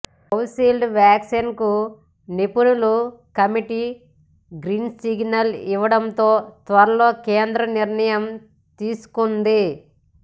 Covishield వ్యాక్సిన్కు నిపుణుల committee green signal ఇవ్వడంతో త్వరలో కేంద్రం నిర్ణయం తీసుకోనుంది